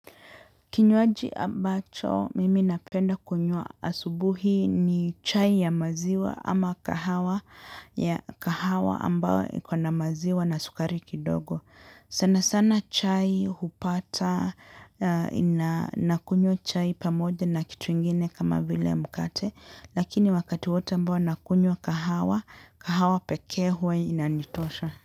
Kinywaji ambacho mimi napenda kunywa asubuhi ni chai ya maziwa ama kahawa ya kahawa ambayo iko na maziwa na sukari kidogo. Sana sana chai hupata na kunywa chai pamoja na kitu ingine kama vile mkate lakini wakati wote ambao nakunywa kahawa, kahawa pekee huwa inanitosha.